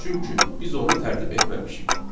Çünki biz onu tərtib etməmişik.